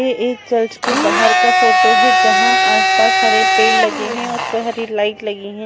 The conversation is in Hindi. ये एक चर्च के बाहर का फोटो है जहां आस पास हरे पेड़ लगे है और उसपे हरी लाइट लगी है।